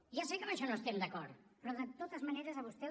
ja sé que amb això no estem d’acord però de totes maneres a vostè